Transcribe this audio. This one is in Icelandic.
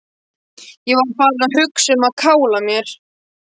Ég var farinn að hugsa um að kála mér.